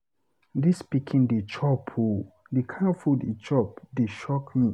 Dis pikin dey chop ooo. The kin food he chop dey shock me.